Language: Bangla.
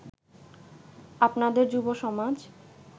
আপনাদের যুবসমাজ